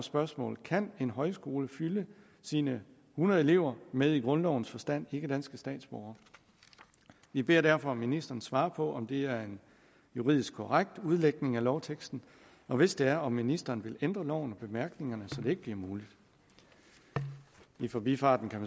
spørgsmål kan en højskole fylde sine hundrede elever med i grundlovens forstand ikkedanske statsborgere vi beder derfor ministeren svare på om det er en juridisk korrekt udlægning af lovteksten og hvis det er om ministeren vil ændre loven og bemærkningerne så det ikke bliver muligt i forbifarten kan